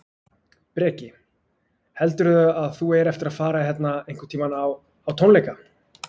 Breki: Heldurðu að þú eigir eftir að fara hérna einhvern tímann á, á tónleika?